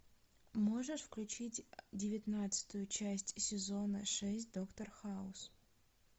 можешь включить девятнадцатую часть сезона шесть доктор хаус